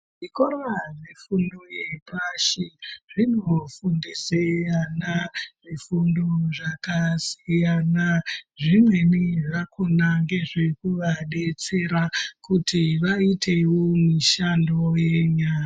Zvikora zvefundo yepashi zvinofundise ana zvifundo zvakasiyana, zvimweni zvakona ngezvekuvadetsera kuti vaitewo mishando yenyara.